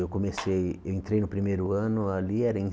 Eu comecei eu entrei no primeiro ano ali, era em